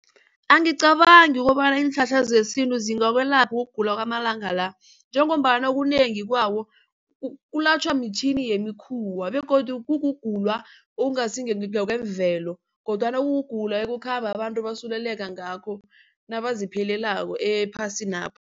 Angicabangi ukobana iinhlahla zesintu zingakwelapha ukugula kwamalanga la njengombana okunengi kwawo kulatjhwa mitjhini yemikhuwa begodu kukugula okungasingokwemvelo kodwana kukugula okukhamba abantu basuleleka ngakho nabazipheleleko ephasinapha.